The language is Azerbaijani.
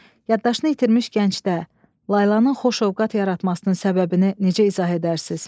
Yaddaşını itirmiş gəncdə Laylanın xoşövqat yaratmasının səbəbini necə izah edərsiniz?